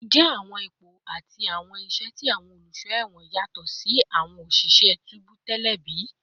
Njẹ awọn ipo ati awọn iṣẹ ti awọn oluṣọ ẹwọn yatọ si ti awọn oṣiṣẹ tubu tẹlẹ bi?